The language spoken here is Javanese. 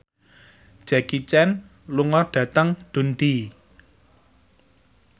Jackie Chan lunga dhateng Dundee